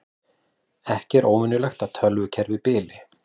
Ekki óvenjulegt að tölvukerfi bili